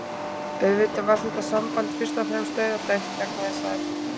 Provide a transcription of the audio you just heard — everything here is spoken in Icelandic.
Auðvitað var þetta samband fyrst og fremst dauðadæmt vegna þess að